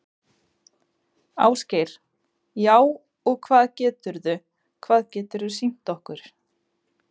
Ásgeir: Já, og hvað geturðu, hvað geturðu sýnt okkur?